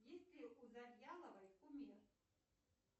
есть ли у завьяловой кумир